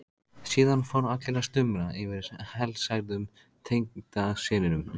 Síðan fóru allir að stumra yfir helsærðum tengdasyninum.